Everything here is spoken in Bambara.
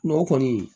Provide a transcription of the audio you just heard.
N'o kɔni